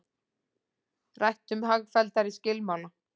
Rætt um hagfelldari skilmála